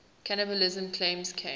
cannibalism claims came